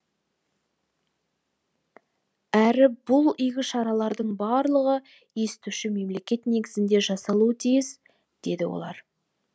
әрі бұл игі шаралардың барлығы естуші мемлекет негізінде жасалуы тиіс дейді олар